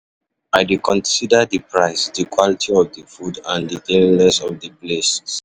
I dey consider di price, di quality of of di food and di cleanliness of di place.